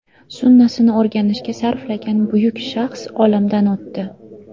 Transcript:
Sunnasini o‘rganishga sarflagan buyuk shaxs olamdan o‘tdi.